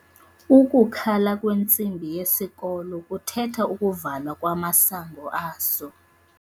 Ukukhala kwentsimbi yesikolo kuthetha ukuvalwa kamasango aso.